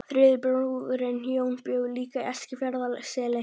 Þriðji bróðirinn, Jón, bjó líka í Eskifjarðarseli.